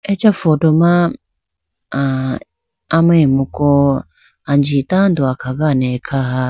Acha photo ma aa amemku anji tando akhagane khaha.